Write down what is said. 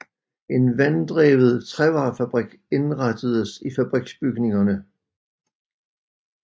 En vanddrevet trævarefabrik indrettedes i fabriksbygningerne